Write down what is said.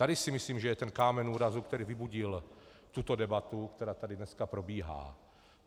Tady si myslím, že je ten kámen úrazu, který vybudil tuto debatu, která tady dnes probíhá.